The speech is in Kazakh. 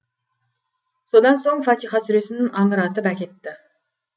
содан соң фатиха сүресін аңыратып әкетті